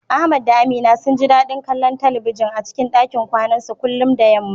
Ahmad da Aminu sun ji dadin kallon talbijin a cikin dakin kwanansu kullum da yamma.